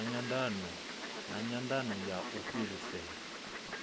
na nyandano ya u fhirisela